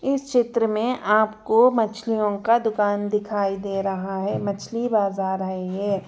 इस चित्र में आपको मछलियों का दुकान दिखाई दे रहा है मछली बाजार है ये--